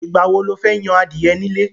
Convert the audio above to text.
Ìgbà wo lo fẹ́ yan adìẹ nílé?